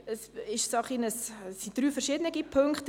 Es handelt sich um drei sehr unterschiedliche Punkte.